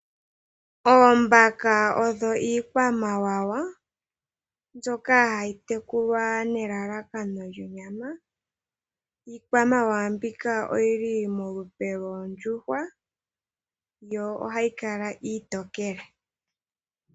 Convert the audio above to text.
Oombaka odho iikwamawawa mbyoka hayi tekulwa nelalakano lyonyama. Iikwamawawa mbika oyili molupe loondjuhwa yo ohayi kala iitokele.